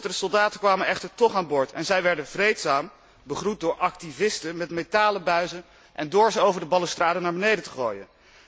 De soldaten kwamen echter toch aan boord en zij werden vreedzaam begroet, door activisten met metalen buizen en door ze over de balustrade naar beneden te gooien.